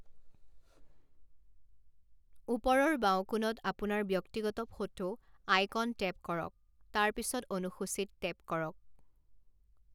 ওপৰৰ বাওঁ কোণত আপোনাৰ ব্যক্তিগত ফটো আইকনটেপ কৰক, তাৰ পিছত অনুসূচী ত টেপ কৰক।